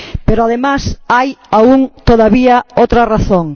Pero, además, hay todavía otra razón.